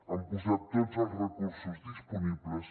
han posat tots els recursos disponibles